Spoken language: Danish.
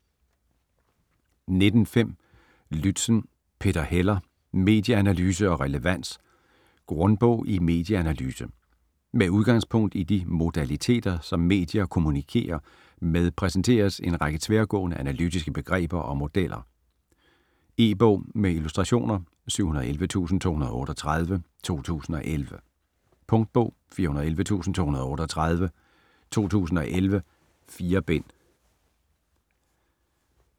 19.5 Lützen, Peter Heller: Medieanalyse og relevans: grundbog i medieanalyse Med udgangspunkt i de modaliteter som medier kommunikerer med præsenteres en række tværgående analytiske begreber og modeller. E-bog med illustrationer 711238 2011. Punktbog 411238 2011. 4 bind.